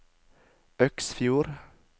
Øksfjord